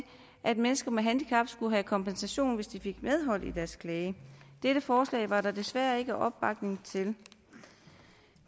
at mennesker med handicap skulle have kompensation hvis de fik medhold i deres klage dette forslag var der desværre ikke opbakning til